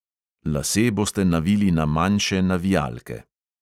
Lase boste navili na manjše navijalke.